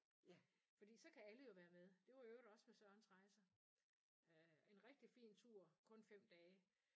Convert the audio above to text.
Fordi så kan alle jo være med det var i øvrigt også med Sørens Rejser en rigtig fin tur kun 5 dage